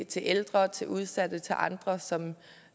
til ældre til udsatte og til andre som